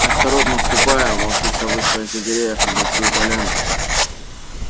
осторожно ступая волчица вышла из за деревьев на большую поляну